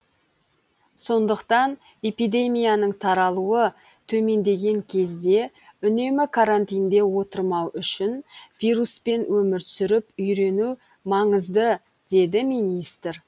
сондықтан эпидемияның таралуы төмендеген кезде үнемі карантинде отырмау үшін вируспен өмір сүріп үйрену маңызды деді министр